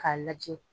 K'a lajɛ